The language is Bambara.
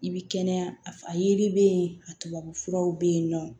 I bi kɛnɛya a yiri be yen a tubabu furaw be yen nɔ